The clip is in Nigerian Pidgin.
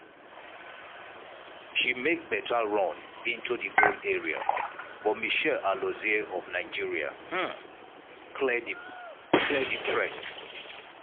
she make beta run into di goal area but mitchelle alozie of nigeria um clear di threat.